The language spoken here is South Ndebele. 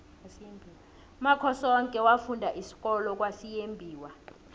umakhosoke wafunda isikolo kwasimuyembiwa